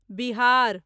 Bihar